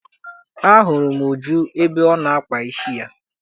A hụrụ m Uju ebe ọ na-akpa isi ya.